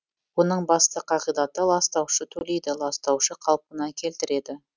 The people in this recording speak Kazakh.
оның басты қағидаты ластаушы төлейді ластаушы қалпына келтіреді